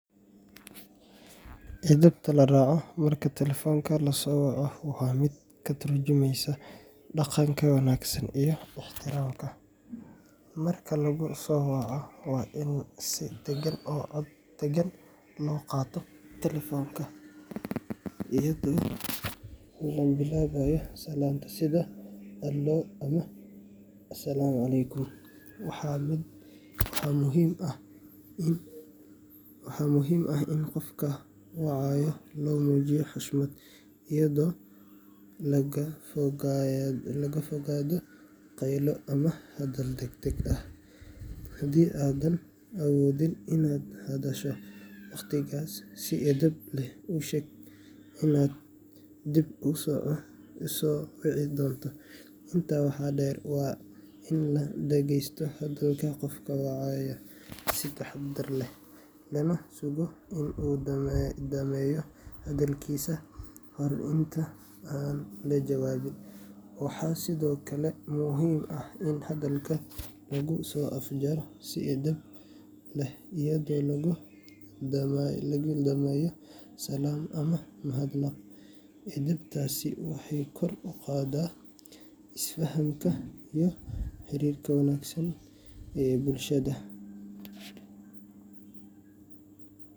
Edebta la raaco marka telefoonka lasoo waco waa mid ka tarjumeysa dhaqanka wanaagsan iyo ixtiraamka. Marka lagu soo waco, waa in si dagan oo cod deggan loo qaataa telefoonka, iyadoo la bilaabayo salaanta sida “Alo” ama “Assalaamu calaykum”. Waxaa muhiim ah in qofka wacaya loo muujiyo xushmad, iyadoo laga fogaado qaylo ama hadal degdeg ah. Haddii aadan awoodin inaad hadasho waqtigaas, si edeb leh u sheeg inaad dib u soo wici doonto. Intaa waxaa dheer, waa in la dhegeysto hadalka qofka wacaya si taxaddar leh, lana sugo in uu dhammeeyo hadalkiisa ka hor inta aan la jawaabin. Waxaa sidoo kale muhiim ah in hadalka lagu soo afjaro si edeb leh, iyadoo lagu dhameeyo salaam ama mahadnaq. Edebtaasi waxay kor u qaaddaa is-fahamka iyo xiriirka wanaagsan ee bulshada.